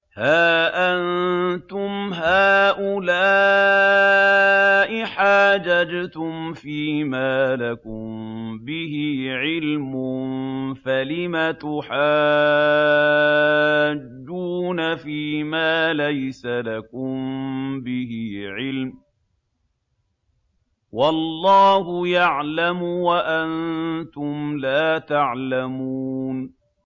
هَا أَنتُمْ هَٰؤُلَاءِ حَاجَجْتُمْ فِيمَا لَكُم بِهِ عِلْمٌ فَلِمَ تُحَاجُّونَ فِيمَا لَيْسَ لَكُم بِهِ عِلْمٌ ۚ وَاللَّهُ يَعْلَمُ وَأَنتُمْ لَا تَعْلَمُونَ